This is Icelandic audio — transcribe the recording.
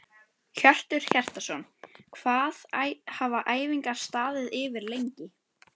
Hjörtur Hjartarson: Hvað hafa æfingar staðið yfir lengi?